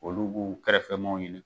Olu b'u kɛrɛfɛ maaw ɲini.